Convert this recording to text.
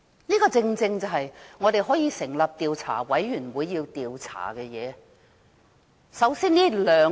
這些正是我們要成立調查委員會去調查的事。